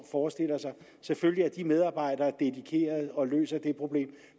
forestiller sig selvfølgelig er de medarbejdere dedikerede og løser det problem